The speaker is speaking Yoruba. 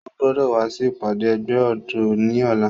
O gbọdọ wa si ipade ẹgbẹ ọdọ ni ọla!